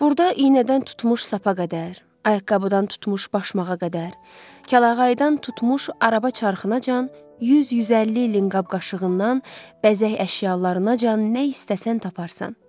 Burda iynədən tutmuş sapa qədər, ayaqqabıdan tutmuş başmağa qədər, kəlağayıdan tutmuş araba çarxınacan 100-150 ilin qab-qaşığından, bəzək əşyalarınacan nə istəsən taparsan.